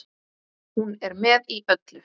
Hún er með í öllu